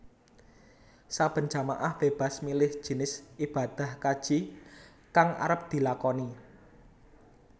Saben jamaah bébas milih jinis ibadah kaji kang arep dilakoni